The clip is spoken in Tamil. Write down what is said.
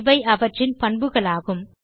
இவை அவற்றின் பண்புகளாகும்